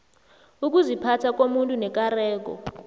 ukuziphatha komuntu nekareko